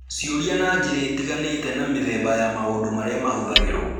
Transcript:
Ciũria na njĩra itiganĩte, na mĩthemba ya maũndũ marĩa mahũthagĩrũo